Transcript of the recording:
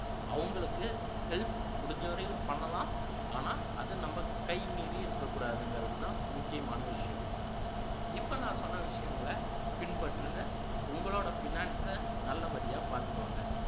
அவங்களுக்கு help முடிஞ்சவரையிலும் பண்ணலாம் ஆனா அது நம்ம கை மீறி இருக்ககூடாதுங்கிறதுதான் முக்கியமான விஷயம் இப்போ நான் சொன்ன விசயங்களை பின்பற்றுங்க உங்களோட finance அ நல்லபடியா பாத்துக்கோங்க